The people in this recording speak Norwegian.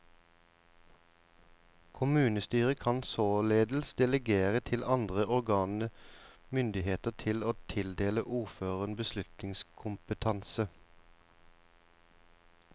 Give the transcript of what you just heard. Kommunestyret kan således delegere til andre organer myndigheten til å tildele ordføreren beslutningskompetanse.